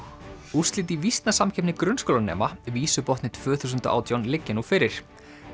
úrslit í grunnskólanema tvö þúsund og átján liggja nú fyrir